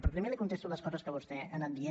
però primer li contesto les coses que vostè ha anat dient